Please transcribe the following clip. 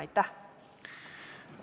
Aitäh!